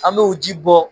An bɛ o ji bɔ